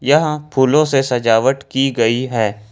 यहां फूलों से सजावट की गई है।